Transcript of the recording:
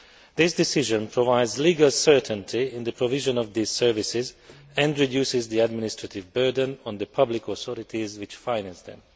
This decision provides legal certainty in the provision of the services and reduces the administrative burden on the public authorities which finance them.